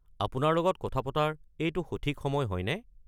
আপোনাৰ লগত কথা পতাৰ এইটো সঠিক সময় হয়নে?